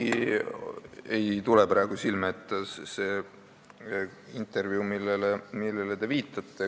Mul ei tule praegu silme ette see intervjuu, millele te viitate.